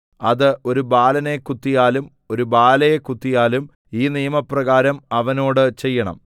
അത് ഒരു ബാലനെ കുത്തിയാലും ഒരു ബാലയെ കുത്തിയാലും ഈ നിയമപ്രകാരം അവനോട് ചെയ്യണം